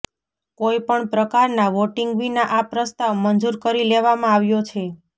કોઇપણ પ્રકારના વોટિંગ વિના આ પ્રસ્તાવ મંજૂર કરી લેવામાં આવ્યો છે